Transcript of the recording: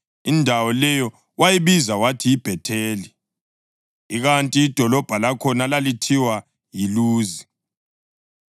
Indawo leyo wayibiza wathi yiBhetheli, ikanti idolobho lakhona lalithiwa yiLuzi.